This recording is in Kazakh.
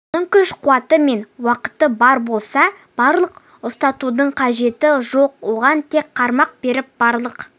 оның күш-қуаты мен уақыты бар болса балық ұстатудың қажеті жоқ оған тек қармақ беріп балық